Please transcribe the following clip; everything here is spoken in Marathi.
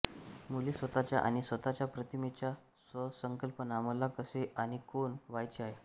मुले स्वतःचा आणि स्वतःच्या प्रतिमेचा स्वसंकल्पना मला कसे आणि कोण व्हायचे आहे